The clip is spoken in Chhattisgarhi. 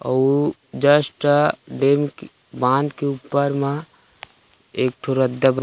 अउ जस्ट डेम के बांध के ऊपर मा एक ठो रद्दा ब--